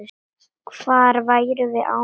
Hvað værum við án hennar?